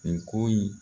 Nin ko in